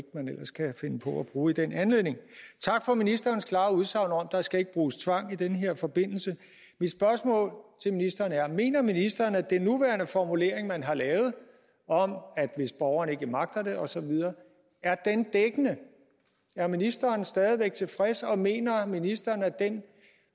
man ellers kan finde på at bruge i den anledning tak for ministerens klare udsagn om at skal bruges tvang i den her forbindelse mit spørgsmål til ministeren er mener ministeren at den nuværende formulering man har lavet om hvis borgeren ikke magter det osv er dækkende er ministeren stadig væk tilfreds og mener ministeren at den